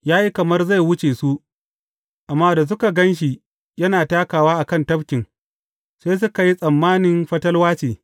Ya yi kamar zai wuce su, amma da suka gan shi yana takawa a kan tafkin, sai suka yi tsammani fatalwa ce.